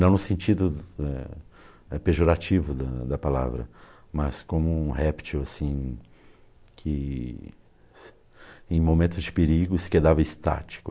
Não no sentido né né pejorativo da da palavra, mas como um réptil que em momentos de perigo se quedava estático.